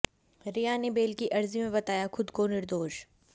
रिया ने बेल की अर्जी में बताया खुद को निर्दोष